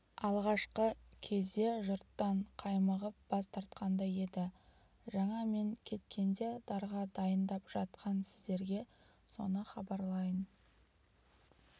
алғашқы кезде жұрттан қаймығып бас тартқандай еді жаңа мен кеткенде дарға дайындап жатқан сіздерге соны хабарлайын